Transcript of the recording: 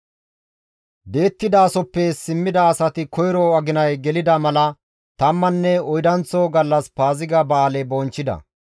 Di7ettidasoppe simmida asati koyro aginay gelida mala tammanne oydanththo gallas Paaziga ba7aale bonchchida.